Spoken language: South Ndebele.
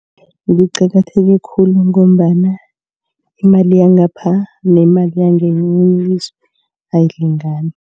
Kuqakatheke khulu ngombana imali yangapha nemali yangakwelinye ilizwe ayilingani.